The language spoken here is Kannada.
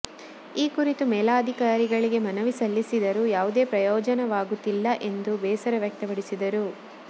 ಈ ಕುರಿತು ಮೇಲಧಿಕಾರಿಗಳಿಗೆ ಮನವಿ ಸಲ್ಲಿಸಿದರೂ ಯಾವುದೇ ಪ್ರಯೋಜನೆಯಾಗುತ್ತಿಲ್ಲ ಎಂದು ಬೇಸರ ವ್ಯಕ್ತಪಡಿಸಿದರು